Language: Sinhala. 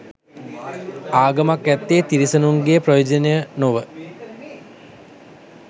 ආගමක් ඇත්තේ තිරිසනුන්ගේ ප්‍රයෝජනය නොව